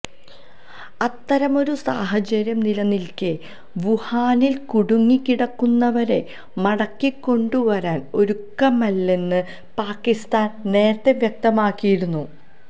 അത്തരമൊരു സാഹചര്യം നിലനിൽക്കെ വുഹാനിൽ കുടുങ്ങി കിടക്കുന്നവരെ മടക്കിക്കൊണ്ടുവരാൻ ഒരുക്കമല്ലെന്ന് പാകിസ്ഥാൻ നേരത്തെ വ്യക്തമാക്കിയിരുന്നു